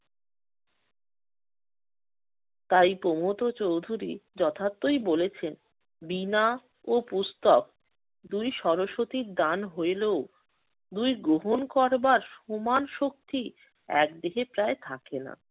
তাই প্রমথ চৌধুরী যথার্থই বলেছেন বীণা ও পুস্তক দুই সরস্বতীর দান হইলেও দুই গ্রহণ করবার সমান শক্তি একদিকে প্রায় থাকে না।